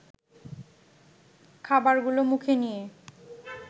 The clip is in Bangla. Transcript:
খাবারগুলো মুখে নিয়ে